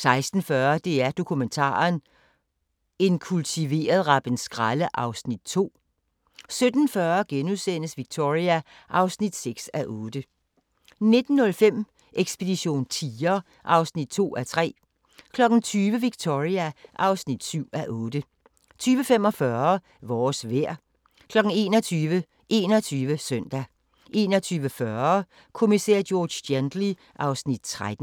16:40: DR Dokumentaren – En kultiveret rappenskralde (Afs. 2) 17:40: Victoria (6:8)* 19:05: Ekspedition tiger (2:3) 20:00: Victoria (7:8) 20:45: Vores vejr 21:00: 21 Søndag 21:40: Kommissær George Gently (Afs. 13)